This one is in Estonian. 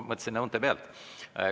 Ma mõtlesin, et vaatan õunte pealt.